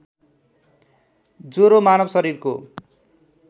ज्वरो मानव शरीरको